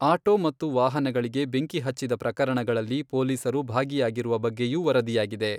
Auto ಮತ್ತು ವಾಹನಗಳಿಗೆ ಬೆಂಕಿ ಹಚ್ಚಿದ ಪ್ರಕರಣಗಳಲ್ಲಿ ಪೊಲೀಸರು ಭಾಗಿಯಾಗಿರುವ ಬಗ್ಗೆಯೂ ವರದಿಯಾಗಿದೆ.